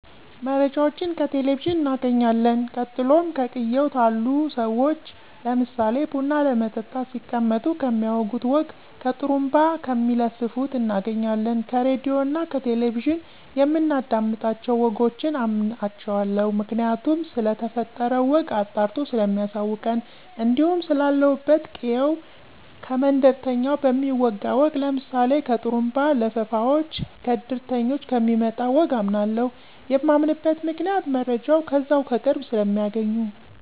መረጃወችን ከቴሌቨዥን እናገኝለን ቀጥሎም ከቅየው ታሉ ሰዎች ለምሳሌ ቡና ለመጠጣት ሲቀመጡ ከሚያወጉት ወግ ከጡሩንባ ከሚለፍፉት እናገኛለን። ከራድዮ እና ከቴሌቨዥን የምናዳምጣቸው ወጎችን አምናቸዋለሁ ምክንያቱም ስለተፈጠረው ወግ አጣርቶ ሰለሚያሳውቀን። እንዲሁም ስላለሁበት ቅየው ከመንደርተኞች በሚወጋ ወግ ለምሳሌ ከጥሩንባ ለፋፉወች፣ ከድርተኞች ከሚመጣ ወግ አምናለሁ። የማምንበት ምክንያት መረጃው ከዛው ከቅርብ ሰለሚያገኙ።